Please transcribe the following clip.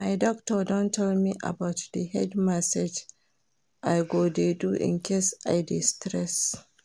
My doctor don tell me about the head massage I go dey do in case I dey stressed